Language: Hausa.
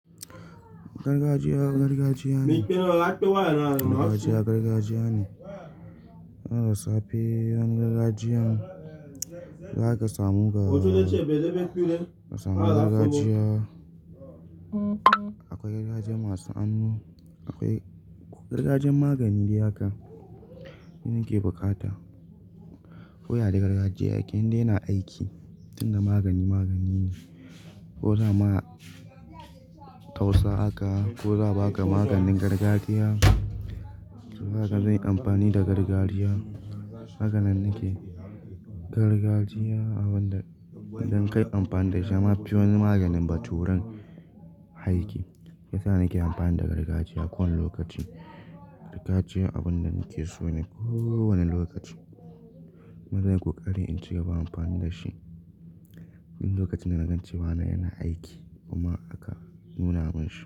Gargajiya, gargajiya ne. Gargajiya, gargajiya ne. Wani da safe wani gargajiya za ka samu ga, za samu gargajiya. Akwai gargajiya masu hannu, akwai gargajiyan magani dai ha ka, shi nake bukata. Ko ya ya gargajiya, yake inda yana aiki, tinda magani magani ne. Ko za ma tausa haka, ko za a ba ka maganin gargajiya. To zaka zayi amfani da gargajiya. Hakanan nake. Gargajiya abun da idan ka yi amfani da shi yama fi wani maganin baturen aiki. Shiyasa nake amfani da gargajiya kowani lokaci. Gargajiya abun da nake so ne kowani lokaci. Kuma zan yi koƙari in ci gaba amfani da shi. Duk lokacin da na ga cewa na yana aiki kuma aka nuna mun shi.